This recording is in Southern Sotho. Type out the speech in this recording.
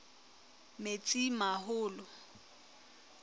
metsimaholo